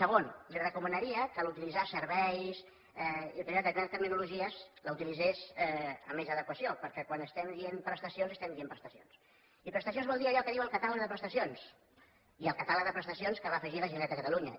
segon li recomanaria que a l’utilitzar serveis i determinades tecnologies els utilitzés amb més adequació perquè quan estem dient prestacions estem dient prestacions i prestacions vol dir allò que diu el catàleg de prestacions i el catàleg de prestacions que va afegir la generalitat de catalunya